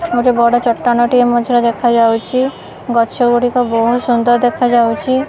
ଗୋଟେ ବଡ଼ ଚଟାଣ ଟେ ମଝିରେ ଦେଖାଯାଉଛି ଗଛ ଗୁଡ଼ିକ ବହୁତ ସୁନ୍ଦର୍ ଦେଖାଯାଉଛି।